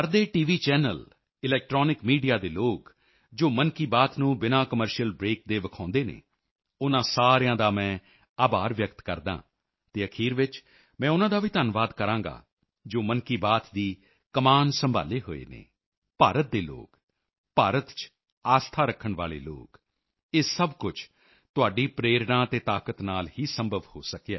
channel electronic media TV channels electronic media ਦੇ ਲੋਕ ਜੋ ਮਨ ਕੀ ਬਾਤ ਨੂੰ ਬਿਨਾਂ ਕਮਰਸ਼ੀਅਲ ਬ੍ਰੇਕ ਕਮਰਸ਼ੀਅਲ ਬ੍ਰੇਕ ਦੇ ਵਿਖਾਉਂਦੇ ਹਨ ਉਨ੍ਹਾਂ ਸਾਰਿਆਂ ਦਾ ਮੈਂ ਆਭਾਰ ਵਿਅਕਤ ਕਰਦਾ ਹਾਂ ਅਤੇ ਅਖੀਰ ਵਿੱਚ ਮੈਂ ਉਨ੍ਹਾਂ ਦਾ ਵੀ ਧੰਨਵਾਦ ਕਰਾਂਗਾ ਜੋ ਮਨ ਕੀ ਬਾਤ ਦੀ ਕਮਾਨ ਸੰਭਾਲ਼ੇ ਹੋਏ ਹਨ ਭਾਰਤ ਦੇ ਲੋਕ ਭਾਰਤ ਚ ਆਸਥਾ ਰੱਖਣ ਵਾਲੇ ਲੋਕ ਇਹ ਸਭ ਕੁਝ ਤੁਹਾਡੀ ਪ੍ਰੇਰਣਾ ਤੇ ਤਾਕਤ ਨਾਲ ਹੀ ਸੰਭਵ ਹੋ ਸਕਿਆ ਹੈ